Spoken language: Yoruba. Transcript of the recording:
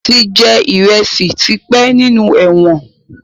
Wọn tí jẹ ìrẹsì tí pẹ́ nínú ẹ̀wọ̀n